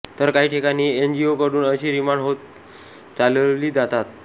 तर काही ठिकाणी एनजीओ कडून अशी रिमांड होम चालवली जातात